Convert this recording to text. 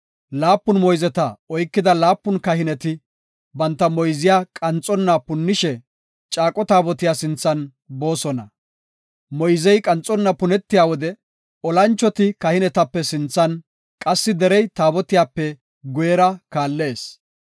Laapun moyzeta oykida laapun kahineti banta moyziya qanxonna punnishe caaqo taabotiya sinthan boosona. Moyzey qanxonna punetiya wode olanchoti kahinetape sinthan qassi derey taabotiyape guyera kaallees.